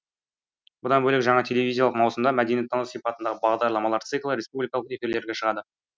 бұдан бөлек жаңа телевизиялық маусымда мәдениеттану сипатындағы бағдарламалар циклі республикалық эфирлерге шығады